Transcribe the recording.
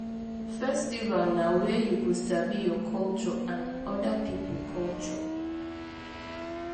Festival na where you go sabi your culture and oda pipo culture